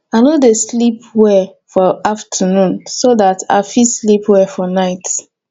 i no dey like sleep well for afternoon so dat i go fit sleep well for night